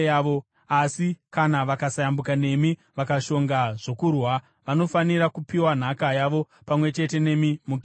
Asi kana vakasayambuka nemi vakashonga zvokurwa, vanofanira kupiwa nhaka yavo pamwe chete nemi muKenani.”